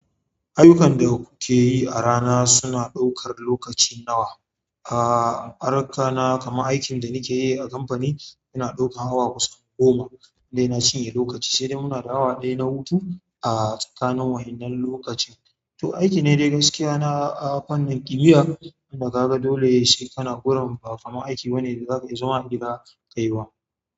Ayyukan da kuke yi a rana suna ɗaukar lokaci nawa? A aron ka na kamar aikin da kike yi a kamfani yana ɗaukan awa kusan goma dai na cinye lokaci, sai dai muna da awa ɗaya na hutu a tsakanin wahinnan lokacin. To, aiki ne dai gaskiya na fannin igiya, tunda ka ga dole shi kana goran ba, kamar aiki banne da zaka iya zama a gida ka yi wa.